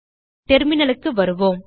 terminalக்கு வருவோம்